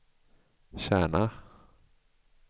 Kärna